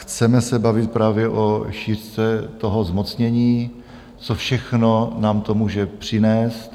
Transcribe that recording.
Chceme se bavit právě o šířce toho zmocnění, co všechno nám to může přinést.